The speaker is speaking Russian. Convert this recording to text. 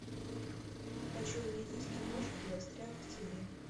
хочу увидеть киношку застрял в тебе